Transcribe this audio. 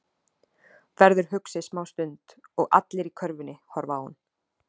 Verður hugsi smá stund og allir í körfunni horfa á hann.